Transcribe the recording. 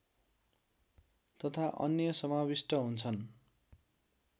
तथा अन्य समाविष्ट हुन्छन्